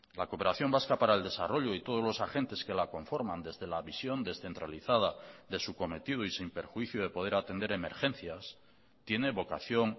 la cooperación vasca para el desarrollo y todos los agentes que la conforman desde la visión descentralizada de su cometido y sin perjuicio de poder atender emergencias tiene vocación